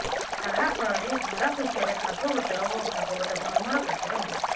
ତାହା ଫଳରେ ଧରାପୃଷ୍ଠରେ ଭାଗବତର ଓ ଭାଗବତଧର୍ମର ପ୍ରଚାର ହେଲା